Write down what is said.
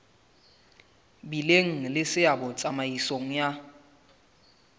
bileng le seabo tsamaisong ya